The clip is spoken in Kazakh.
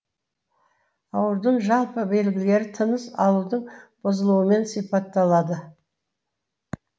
аурудың жалпы белгілері тыныс алудың бұзылуымен сипатталады